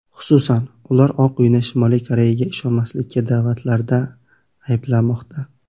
Xususan, ular Oq uyni Shimoliy Koreyaga ishonmaslikka da’vatlarda ayblamoqda.